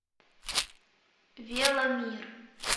веломир